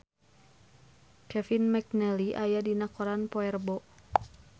Kevin McNally aya dina koran poe Rebo